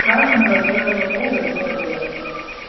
страшного белого бога не было